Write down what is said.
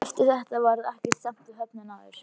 Eftir þetta varð ekkert samt við höfnina aftur.